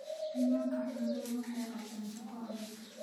Nimanka xooluhu waxay qabtaan shaqo adag.